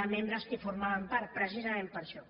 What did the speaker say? de membres que en formaven part precisament per això